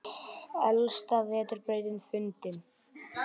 Elsta vetrarbrautin fundin